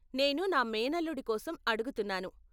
నేను నా మేనల్లుడి కోసం అడుగుతున్నాను.